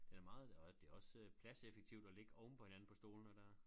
Det da meget og det også pladseffektivt at ligge oven på hinanden på stolene dér